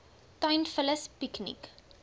tuin vullis piekniek